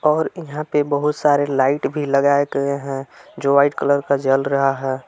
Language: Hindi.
और यहां पे बहुत सारे लाइट भी लगाए गए हैं जो व्हाइट कलर का जल रहा है।